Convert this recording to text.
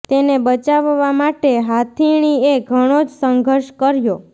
તેને બચાવવા માટે હાથીણી એ ઘણો જ સંઘર્ષ કર્યો